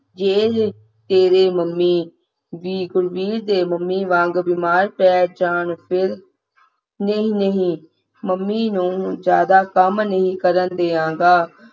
ਜੇ ਤੇਰੇ ਮੰਮੀ ਵੀ ਗੁਰਵੀਰ ਦੇ ਮੰਮੀ ਵਾਂਗੂੰ ਬਿਮਾਰ ਪੈ ਜਾਣ ਨਹੀਂ ਨਹੀਂ ਮੰਮੀ ਨੂੰ ਜ਼ਿਆਦਾ ਕੰਮ ਨਹੀਂ ਕਰਨ ਦੇਵਾਂਗਾ